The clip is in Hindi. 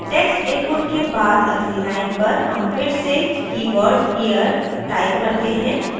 text inputs के बाद अगली line पर हम फिर से कीवर्ड here type करते हैं